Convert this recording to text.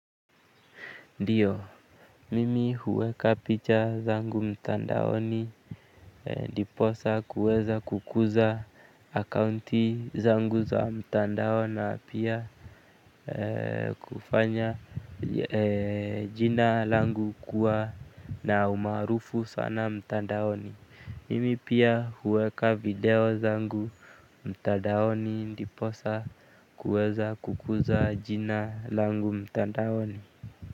Ndiyo, mimi huweka picha zangu mtandaoni ndiposa kuweza kukuza akaunti zangu za mtandaoni na pia kufanya jina langu kuwa na umaarufu sana mtandaoni. Mimi pia huweka video zangu mtandaoni ndiposa kuweza kukuza jina langu mtandaoni.